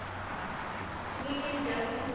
wiggin doesn t